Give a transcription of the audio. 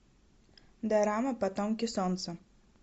дорама потомки солнца